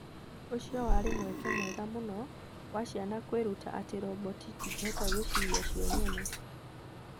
Ũcio warĩ mweke mwega mũno wa ciana kwĩruta atĩ roboti itingĩhota gwĩciria cio nyene.